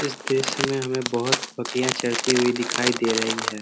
इस दृश्य में हमें बहोत बकरियाँ चरती हुई दिखाई दे रही है ।